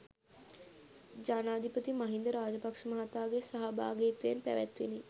ජනාධිපති මහින්ද රාජපක්ෂ මහතාගේ සහභාගිත්වයෙන් පැවැත්විණි.